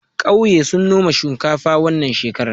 ƙauye sun noma shinkafa wannan shekarar